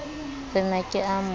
re na ke a mo